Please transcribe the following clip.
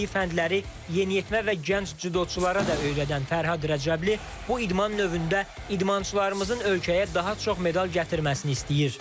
Bildiyi fəndləri yeniyetmə və gənc cüdoçulara da öyrədən Fərhad Rəcəbli bu idman növündə idmançılarımızın ölkəyə daha çox medal gətirməsini istəyir.